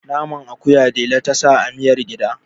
naman akuya dela ta sa amiyar gida